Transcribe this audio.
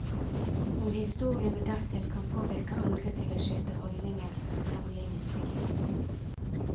Om historiene dertil kan påvirke andre til å skifte holdninger er temmelig usikkert.